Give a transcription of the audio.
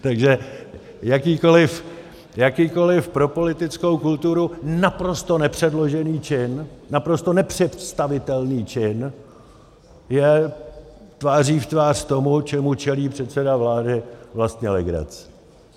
Takže jakýkoliv pro politickou kulturu naprosto nepředložený čin, naprosto nepředstavitelný čin je tváří v tvář tomu, čemu čelí předseda vlády, vlastně legrace.